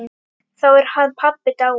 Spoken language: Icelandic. Þá er hann pabbi dáinn.